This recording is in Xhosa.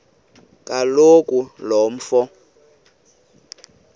kaloku lo mfo